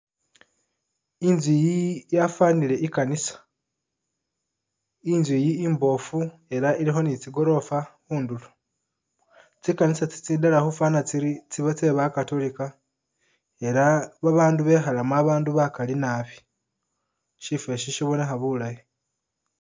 Inzu'yi yafanile ikanisa inzu'yi imbofu elah ilikho ni tsikorofa khundulo tsikanisa tsitsitala khufana tsiri tsi'ba tseba'catolica elah abandu bekhalamo bakali naabi, sifosho sibonekha bulaayi